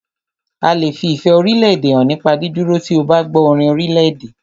A lè fi ìfẹ́ orílédè hàn nípa dídúró tí o bá gbọ́ orin orílèdè.